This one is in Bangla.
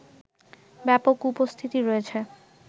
ব্যাপক উপস্থিতি রয়েছে